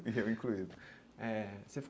Eu incluído eh.